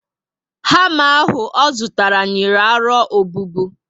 Hama ahụ o zụtara, nyìrí aro obubu